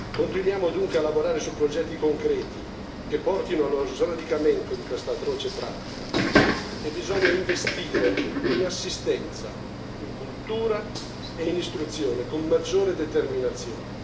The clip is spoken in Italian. Continuiamo dunque a lavorare su progetti concreti che portino allo sradicamento di questa atroce pratica e bisogna investire in assistenza, in cultura e in istruzione, con maggiore determinazione.